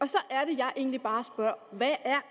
så er det jeg egentlig bare spørger hvad er